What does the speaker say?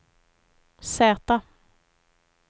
Z